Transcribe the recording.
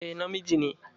Eh, na miji ne.